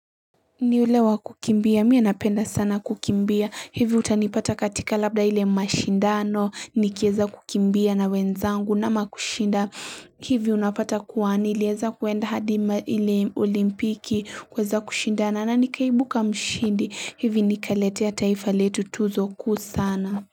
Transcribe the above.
Ni yule wa kukimbia, mie napenda sana kukimbia, hivi utanipata katika labda ile mashindano, nikieza kukimbia na wenzangu nama kushinda hivi unapata kuwa nilieza kuenda hadi ile olimpiki kuweza kushindana na nikaibuka mshindi, hivi nikaletea taifa letu tuzo kuu sana.